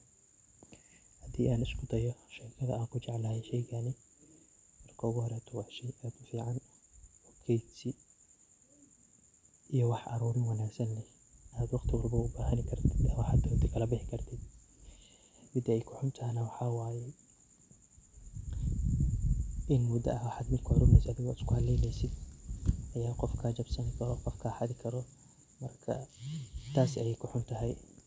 Haddii aan isku dayo shekada aan ku jeclahay sheygaani. Marka horeeto waa shey aad u fiican keydsi iyo wax aruurin wanaagsan leh aad waqti waliba bo u bahani kartid waxaad rabtid kala bixi kartid .Middi ay ku xun tahay na waxaa waye in mudda ah wixi aad uruinayse aad isku haleyneysid ayaa qof kaa jabsani karaa ,qof kaa xadi karo markaa taas ayey ku xun tahay.